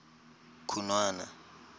khunwana